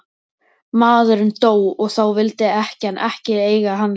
Maðurinn dó og þá vildi ekkjan ekki eiga hann lengur.